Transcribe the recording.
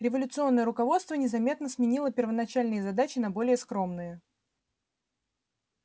революционное руководство незаметно сменило первоначальные задачи на более скромные